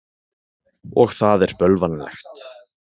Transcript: Og það er bölvanlegt.